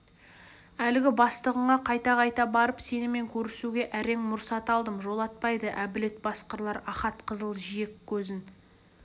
әлгі бастығыңа қайта-қайта барып сенімен көрісуге әрең мұрсат алдым жолатпайды әбілет басқырлар ахат қызыл жиек көзін